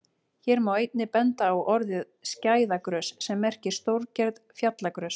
Hér má einnig benda á orðið skæðagrös sem merkir stórgerð fjallagrös.